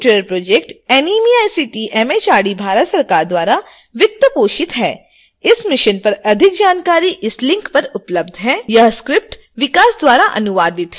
spoken tutorial project NMEICT MHRD Bharat सरकार द्वारा वित्त पोषित है इस मिशन पर अधिक जानकारी इस लिंक पर उपलब्ध है